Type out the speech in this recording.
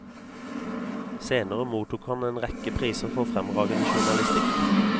Senere mottok han en rekke priser for fremragende journalistikk.